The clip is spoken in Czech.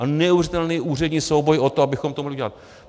A neuvěřitelný úřední souboj o to, abychom to mohli udělat.